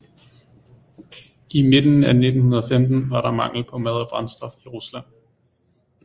I midten af 1915 var der mangel på mad og brændstof i rusland